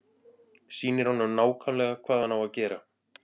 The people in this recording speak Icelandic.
Sýnir honum nákvæmlega hvað hann á að gera.